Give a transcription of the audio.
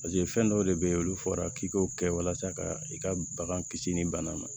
paseke fɛn dɔw de be yen olu fɔra k'i k'o kɛ walasa ka i ka bagan kisi ni bana ma